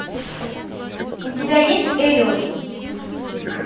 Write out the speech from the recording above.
у тебя есть элиот